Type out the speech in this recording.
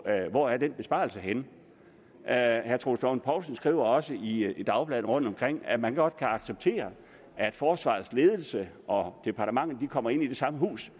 af hvor den besparelse er henne herre troels lund poulsen skriver også i i dagbladene rundtomkring at man godt kan acceptere at forsvarets ledelse og departementet kommer ind i det samme hus